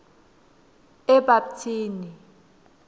ebapthini